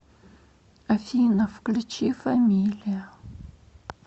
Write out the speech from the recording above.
афина включи фамилия